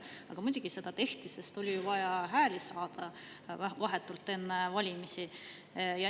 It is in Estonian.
Aga muidugi seda tehti, sest oli vaja hääli saada vahetult enne valimisi.